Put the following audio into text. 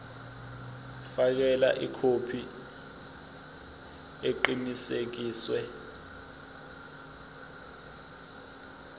fakela ikhophi eqinisekisiwe